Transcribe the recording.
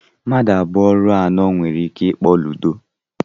Mmadụ abụọ ruo anọ nwere ike ịkpọ Ludo.